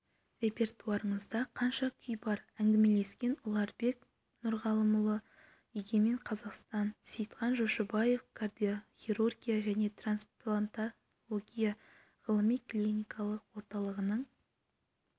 репертуарыңызда қанша күй бар әңгімелескен ұларбек нұрғалымұлы егемен қазақстан сейітхан жошыбаев кардиохирургия және трансплантология ғылыми-клиникалық орталығының